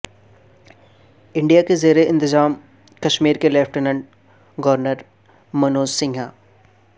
India کے زیر انتظام کشمیر کے لیفٹیننٹ گورنر منوج سنہا